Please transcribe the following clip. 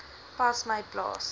pas my plaas